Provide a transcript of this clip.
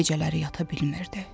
Gecələri yata bilmirdi.